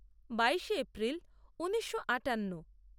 বাইশে এপ্রিল ঊনিশো আটান্ন